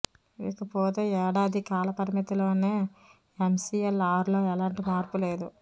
ఇకపోతే ఏడాది కాల పరిమితిలోని ఎంసీఎల్ఆర్లో ఎలాంటి మార్పు లేదు